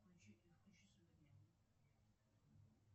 включите включи супер няню